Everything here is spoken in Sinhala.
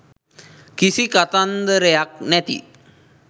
කිසි කතන්දරයක් නැති..